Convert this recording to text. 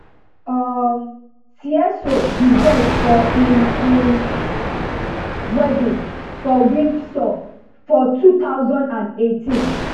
um seeiso be guest for im im wedding for windsor for two thousand and eighteen